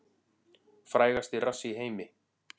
Frægasti rass í heimi